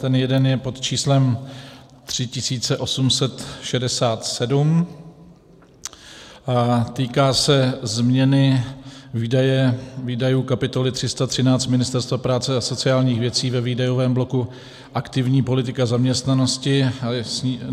Ten jeden je pod číslem 3867 a týká se změny výdajů kapitoly 313 Ministerstva práce a sociálních věcí ve výdajovém bloku aktivní politika zaměstnanosti.